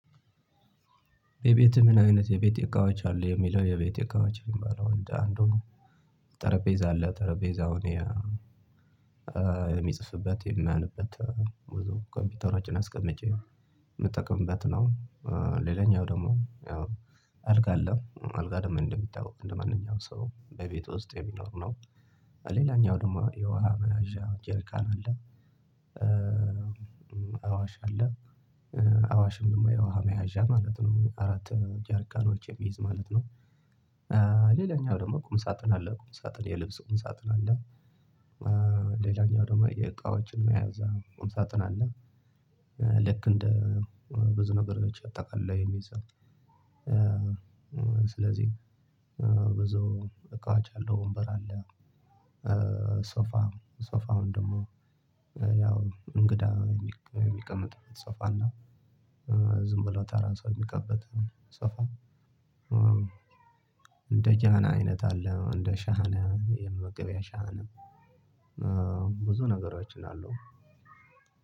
የቤት ምን? አይነት የቤት እቃዎች አሉ የሚለው የቤት እቃዎች ይባላው እንደ አንዱ ነው ጠረጴዛ አለ ጠረጴዛ እኔ የሚጽፍበት የማነብበት ኮምፒውተሮችን አስቀምጬ የምጠቅምበት ነው። ሌላኛው ደግሞ አልጋ አለ አልጋ ደግሞ እንደሚታወቀው እንደማንኛውም ሰው በቤት ውስጥ የሚኖር ነው። ሌላኛው ደግሞ የውሃ መያዣ ጀርካን አለ አዋሽ አለ አዋሽ ደሞ የውሃ መያዣ ማለት ነው አራት ጃርካኖች የሚይዝ ማለት ነው። ሌላኛው ደግሞ ቁም ሳጥን አለ ቁም ሳጥን የልብስ ቁም ሳጥን አለ። ሌላኛው ደግሞ የእቃዎችን መያዣ ቁምሳጥን አለ። ልክ እንደ ብዙ ነገሮች አጠቃሎ የሚይዘው ስለዚህ ብዙ እቃዎች አሉ ወንበር አለ። ሶፋ ሶፋውን ደግሞ ያው እንግዳ የሚቀመጥበት ሶፋና ዝም ብሎ ተራ ሰው የሚቀመጥበት ሶፋ። እንደ ጃና አይነት አለ እንደ ሻህን የመመገቢያ ሻህን ብዙ ነገሮች አሉ።